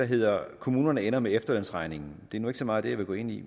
hedder kommunerne ender med efterlønsregningen det er nu ikke så meget det jeg vil gå ind i